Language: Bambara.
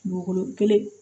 Dugukolo kelen